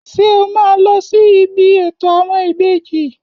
Ṣé o máa lọ sí ibi ètò àwọn ìbejì?